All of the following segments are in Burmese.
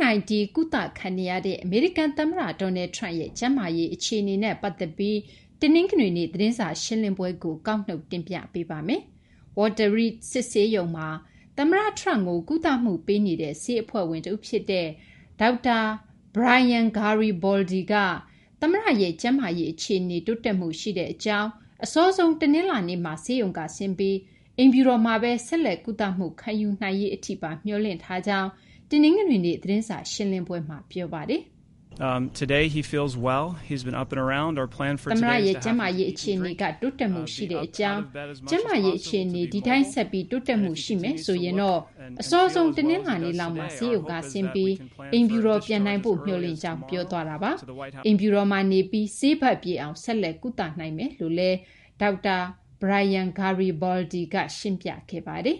-19 ကုသခံနေရတဲ့ အမေရိကန်သမ္မတ Donald Trump ရဲ့ ကျန်းမာရေး အခြေအနေနဲ့ ပတ်သက်ပြီး တနင်္ဂနွေနေ့ သတင်းစာရှင်းလင်းပွဲကို မသိင်္ဂီထိုက် ကောက်နုတ် တင်ပြပေးထားပါတယ်။ Walter Reed စစ်ဆေးရုံမှာ သမ္မတ Trump ကို ကုသမှုပေးနေတဲ့ ဆေးအဖွဲ့ဝင် တဦးဖြစ်တဲ့ ဒေါက်တာ Brian Garibaldi က သမ္မတရဲ့ ကျန်းမာရေးအခြေအနေ တိုးတက်မှုရှိတဲ့အကြောင်း၊ အစောဆုံး တနင်္လာနေ့မှာ ဆေးရုံကဆင်းပြီး အိမ်ဖြူတော်မှာပဲ ဆက်လက် ကုသမှုခံယူနိုင်ရေးအထိပါ မျှော်လင့်ထားကြောင်း တနင်္ဂနွေနေ့ သတင်းစာရှင်းလင်းပွဲမှာ ပြောဆိုသွားပါတယ်။ “တနင်္ဂနွေနေ့မှာ သမ္မတရဲ့ ကျန်းမာရေး အခြေအနေက တိုးတက်မှုရှိကြောင်း၊ သမ္မတရဲ့ ကျန်းမာရေး အခြေအနေက ဒီအတိုင်း ဆက်ပြီး တိုးတက်မှု ရှိနေမယ်ဆိုရင် အစောဆုံး တနလာၤနေ့လောက်မှာ ဆေးရုံကဆင်းပြီး အိမ်ဖြူတော် ပြန်နိုင်ဖို့ မျှော်လင့်ကြောင်း” ပြောသွားတာပါ။ အိမ်ဖြူတော်မှာနေပြီး ဆေးပတ်ပြည့်အောင် ဆက်လက် ကုသနိုင်မယ်လို့လည်း ဒေါက်တာ Brian Garibaldi ရှင်းပြခဲ့တာ ဖြစ်ပါတယ်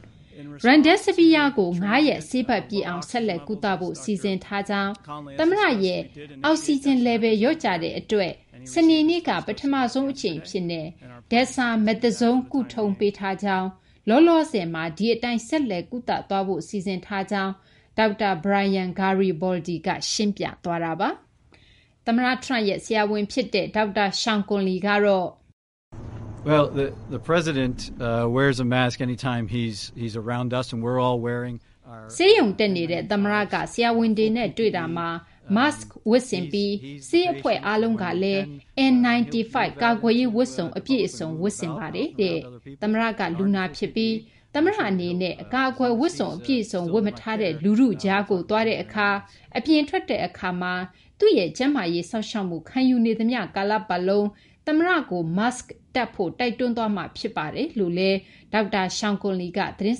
။ “Remdesivir ကို ၅ ရက် ဆေးပတ်ပြည့်အောင် ဆက်လက်ကုသဖို့ စီစဉ်ထားကြောင်း၊ သမ္မတရဲ့ အောက်ဆီဂျင် လျော့ကျတဲ့အတွက် စနေနေ့က ပထမဆုံးအကြိမ်အဖြစ် Dexamethasone ကုထုံးပေးထားကြောင်း၊ လောလောဆယ်မှာ ဒီအတိုင်း ဆက်လက်ကုသသွားဖို့ စီစဉ်ထားကြောင်း” ဒေါက်တာ Brian Garibaldi က ရှင်းပြသွားပါတယ်။ သမ္မတ Trump ရဲ့ ဆရာဝန်ဖြစ်တဲ့ ဒေါက်တာ Sean Conley ကတော့... “ဆေးရုံတက်နေတဲ့ သမ္မတက ဆရာဝန်တွေနဲ့ တွေ့တာမှာ Mask ဝတ်ဆင်ပြီး ဆေးအဖွဲ့အားလုံးကလည်း N95 ကာကွယ်ရေးဝတ်စုံ အပြည့်အစုံ ဝတ်ဆင်ပါတယ်။ သမ္မတက လူနာဖြစ်ပြီး သမ္မတအနေနဲ့ အကာအကွယ်ဝတ်စုံ အပြည့်အစုံ ဝတ်မထားတဲ့ လူထုကြားကို သွားတဲ့အခါမှာ၊ အပြင်ထွက်တဲ့အခါမှာ သူ့ရဲ့ ကျန်းမာရေးစောင့်ရှောက်မှု ခံယူနေသမျှ ကာလပတ်လုံး သမ္မတကို Mask တပ်ဖို့ တိုက်တွန်းသွားမှာ ဖြစ်ပါတယ်” လို့ သတင်း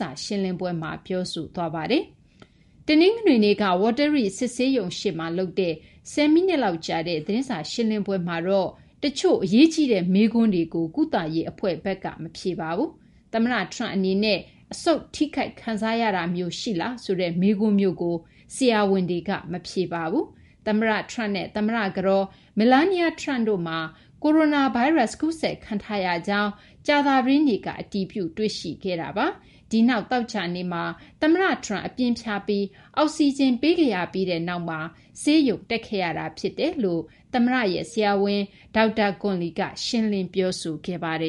စာရှင်းလင်းပွဲမှာ ပြောဆိုသွားပါတယ်။ တနင်္ဂနွေနေ့က Walter Reed စစ်ဆေးရုံရှေ့မှာ လုပ်တဲ့ ၁၀ မိနစ်လောက်ကြာတဲ့ သတင်းစာရှင်းလင်းပွဲမှာတော့ တချို့ အရေးကြီးတဲ့ မေးခွန်းတွေကို ကုသရေးအဖွဲ့ဘက်က မဖြေပါဘူး။ သမ္မတ Trump အနေနဲ့ အဆုတ်ထိခိုက်တာမျိုး ခံစားရလားဆိုတဲ့ မေးခွန်းမျိုးကိုတော့ ဆရာဝန်တွေက ဖြေကြားမသွားပါဘူး။ သမ္မတ Trump နဲ့ သမ္မတကတော် Melania Trump တို့မှာ ကိုရိုနာဗိုင်းရပ်စ် ကူးစက်ခံထားရကြောင်း ကြာသပတေးနေ့က အတည်ပြု တွေ့ရှိခဲ့တာပါ။ ဒီနောက် သောကြာနေ့မှာ သမ္မတ Trump အပြင်းဖျားပြီး အောက်စီဂျင် ပေးခဲ့ရပြီးနောက်မှာ ဆေးရုံတက်ခဲ့ရတာ ဖြစ်တယ်လို့ သမ္မတရဲ့ ဆရာဝန် ဒေါက်တာ Conley က ရှင်းလင်း ပြောဆိုခဲ့ပါတယ်